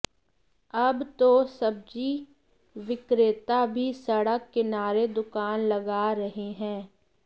अब तो सब्जी विक्रेता भी सडक किनारे दुकान लगा रहे है